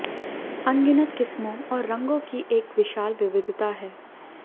अनगिनत किस्मों और रंगों की एक विशाल विविधता है